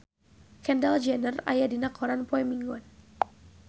Kendall Jenner aya dina koran poe Minggon